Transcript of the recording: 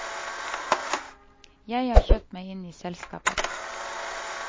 Jeg har kjøpt meg inn i selskapet.